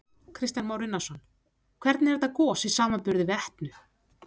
Kristján Már Unnarsson: Hvernig er þetta gos í samanburði við Etnu?